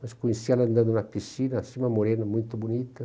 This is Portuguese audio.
Mas conheci ela andando na piscina, assim, uma morena, muito bonita.